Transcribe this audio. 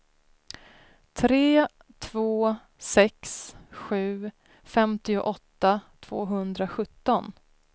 tre två sex sju femtioåtta tvåhundrasjutton